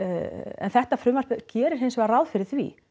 en þetta frumvarp gerir hins vegar ráð fyrir því